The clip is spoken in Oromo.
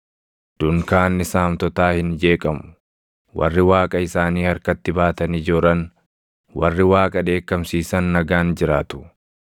Dunkaanni saamtotaa hin jeeqamu; warri Waaqa isaanii harkatti baatanii jooran, warri Waaqa dheekkamsiisan nagaan jiraatu.